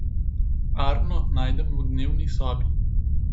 Arno najdem v dnevni sobi.